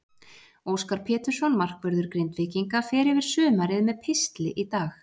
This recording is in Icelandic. Óskar Pétursson, markvörður Grindvíkinga, fer yfir sumarið með pistli í dag.